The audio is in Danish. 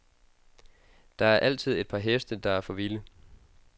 Der er altid et par heste, der er for vilde.